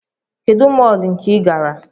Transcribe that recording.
Kedụ mọọlụ nke ịgara?